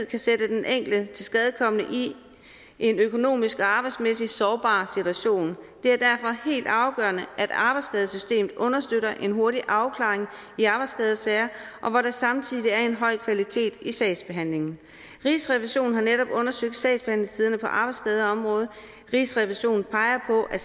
kan sætte den enkelte tilskadekomne i en økonomisk og arbejdsmæssig sårbar situation det er derfor helt afgørende at arbejdsskadesystemet understøtter en hurtig afklaring i arbejdsskadesager og hvor der samtidig er en høj kvalitet i sagsbehandlingen rigsrevisionen har netop undersøgt sagsbehandlingstiderne på arbejdsskadeområdet rigsrevisionen peger på at